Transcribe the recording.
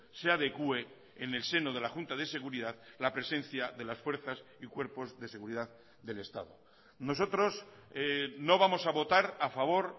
se adecue en el seno de la junta de seguridad la presencia de las fuerzas y cuerpos de seguridad del estado nosotros no vamos a votar a favor